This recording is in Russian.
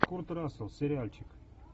курт рассел сериальчик